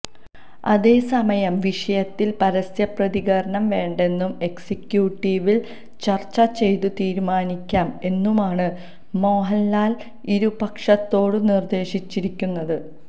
അതേസമയം വിഷയത്തില് പരസ്യപ്രതികരണം വേണ്ടെന്നും എക്സിക്യൂട്ടീവില് ചര്ച്ച ചെയ്തു തീരുമാനിക്കാം എന്നുമാണ് മോഹന്ലാല് ഇരുപക്ഷത്തോടും നിര്ദേശിച്ചിരിക്കുന്നത്